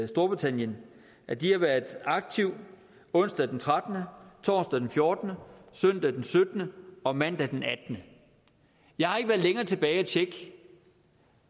storbritannien at de har været aktive onsdag den 13 torsdag den 14 søndag den syttende og mandag den attende jeg har ikke været længere tilbage og tjekke